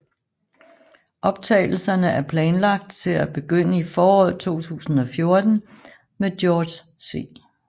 Optagelserne er planlagt til at begynde i foråret 2014 med George C